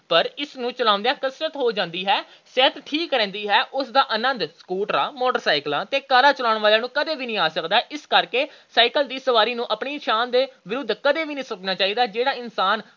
ਪਰ ਇਸ ਨੂੰ ਚਲਾਉਂਦਿਆਂ ਕਸਰਤ ਹੋ ਜਾਂਦੀ ਹੈ। ਸਿਹਤ ਠੀਕ ਰਹਿੰਦੀ ਹੈ। ਉਸ ਦਾ ਆਨੰਦ ਸਕੂਟਰਾਂ, ਮੋਟਰਸਾਈਕਲਾਂ ਤੇ ਕਾਰਾਂ ਚਲਾਉਣ ਵਾਲਿਆਂ ਨੂੰ ਕਦੇ ਨਹੀਂ ਆ ਸਕਦਾ। ਇਸ ਲਈ ਸਾਈਕਲ ਦੀ ਸਵਾਰੀ ਨੂੰ ਆਪਣੀ ਸ਼ਾਨ ਦੇ ਵਿਰੁੱਧ ਕਦੇ ਨਹੀਂ ਸਮਝਣਾ ਚਾਹੀਦਾ। ਜਿਹੜਾ ਇਨਸਾਨ